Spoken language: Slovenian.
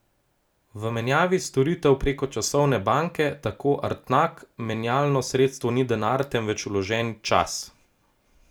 V menjavi storitev preko časovne banke, tako Artnak, menjalno sredstvo ni denar, temveč vložen čas.